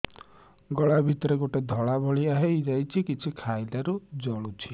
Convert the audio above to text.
ଗଳା ଭିତରେ ଗୋଟେ ଧଳା ଭଳିଆ ହେଇ ଯାଇଛି କିଛି ଖାଇଲାରୁ ଜଳୁଛି